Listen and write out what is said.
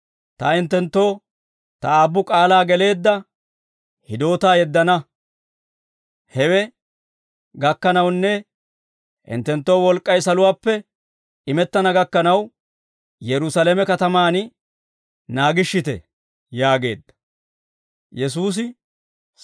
Ta hinttenttoo, Ta aabbu k'aalaa geleedda hidootaa yeddana; hewe gakkanawunne hinttenttoo wolk'k'ay saluwaappe imettana gakkanaw, Yerusaalame katamaan naagishshite» yaageedda.